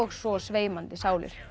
svo sveimandi sálir